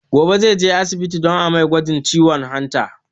Gobe zai je asibiti don a mai gwajin ciwon hanta